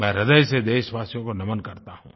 मैं ह्रदय से देशवासियों को नमन करता हूँ